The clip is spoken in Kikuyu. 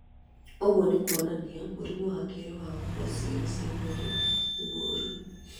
ũguo nĩ kwonania mũrimũ wa kerĩ wa gũkua ciĩga ia mwĩrĩ no wĩ mũru